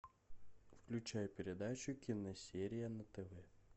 включай передачу киносерия на тв